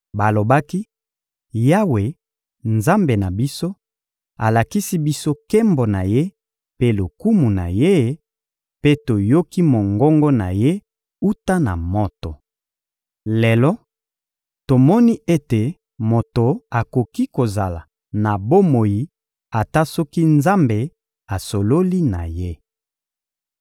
Balobaki: «Yawe, Nzambe na biso, alakisi biso nkembo na Ye mpe lokumu na Ye; mpe toyoki mongongo na Ye wuta na moto. Lelo, tomoni ete moto akoki kozala na bomoi ata soki Nzambe asololi na ye.